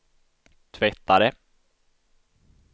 tvättare